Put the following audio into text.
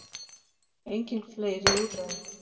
Engin fleiri úrræði